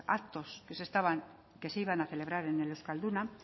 actos que se iban a celebrar en el euskalduna